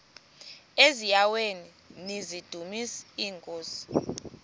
eziaweni nizidumis iinkosi